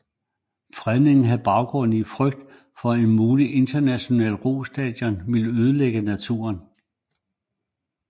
Fredningen havde baggrund i en frygt for at et muligt internationalt rostadion ville ødelægge naturen